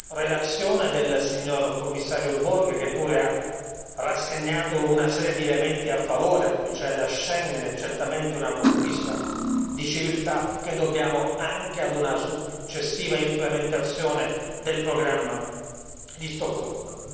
relazione del Commissario Borg che pure ha indicato una serie di elementi a favore a cominciare da Schengen, che è certamente una conquista di civiltà che dobbiamo anche ad una successiva implementazione del programma di Stoccolma.